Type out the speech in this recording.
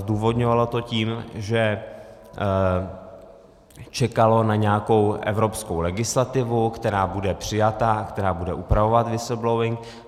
Zdůvodňovalo to tím, že čekalo na nějakou evropskou legislativu, která bude přijata, která bude upravovat whistleblowing.